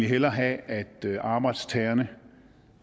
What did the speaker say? hellere have at arbejdstagerne